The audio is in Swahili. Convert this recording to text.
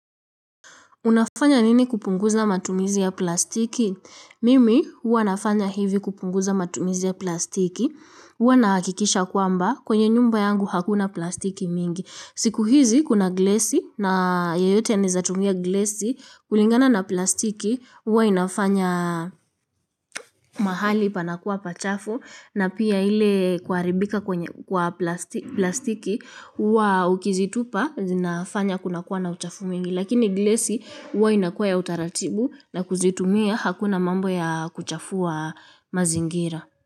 Unafanya nini kupunguza matumizi ya plastiki? Mimi huwa nafanya hivi kupunguza matumizi ya plastiki. huWa naha kikisha kwamba kwenye nyumba yangu hakuna plastiki mingi. Siku hizi kuna glesi na yeyote anawezatumia glesi kulingana na plastiki. huWa inafanya mahali panakuwa pachafu na pia ile kuharibika kwenye kwa plastiki. huWa ukizitupa zinafanya kunakuwa na uchafu mwingi. Lakini glesi huwa inakua ya utaratibu na kuzitumia hakuna mambo ya kuchafua mazingira.